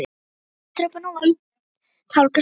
Hann sat á kirkjutröppunum og var að tálga spýtu.